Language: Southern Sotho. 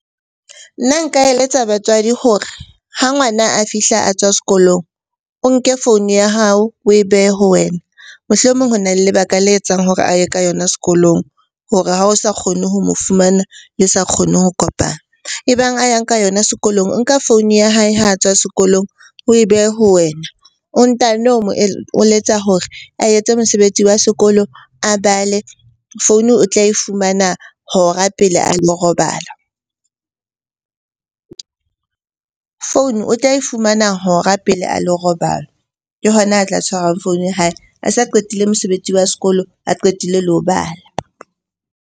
Nna nka eletsa batswadi hore ha ngwana a fihla a tswa sekolong, o nke founu ya hao, oe behe ho wena. Mohlomong ho na le lebaka le etsang hore a ye ka yona sekolong hore ha o sa kgone ho mo fumana, le sa kgone ho kopana. E bang a yang ka yona sekolong, o nka founu ya hae ha a tswa sekolong oe behe ho wena o ntano mo eletsa hore a etse mosebetsi wa sekolo, a bale. Founu o tla e fumana hora pele a lo robala, founu o tla e fumana hora pele a lo robala. Ke hona a tla tshwarwang founu ya hae a sa qetile mosebetsi wa sekolo, a qetile le ho bala.